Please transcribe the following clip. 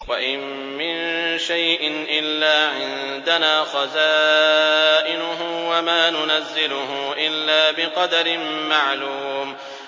وَإِن مِّن شَيْءٍ إِلَّا عِندَنَا خَزَائِنُهُ وَمَا نُنَزِّلُهُ إِلَّا بِقَدَرٍ مَّعْلُومٍ